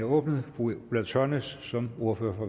åbnet fru ulla tørnæs som ordfører for